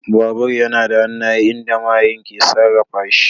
Babur yana da hannaye inda mahayin ke sarrafa shi.